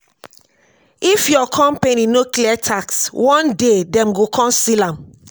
if your company no clear tax one day dem go come seal am.